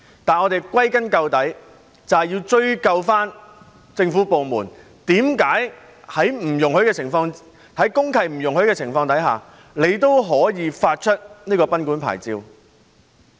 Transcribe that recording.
但是，歸根究底，我們要追究政府部門為何在公契不容許的情況下，他們仍會發出賓館牌照？